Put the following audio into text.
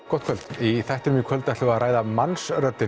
gott kvöld í þættinum í kvöld ætlum við að ræða Mannsröddina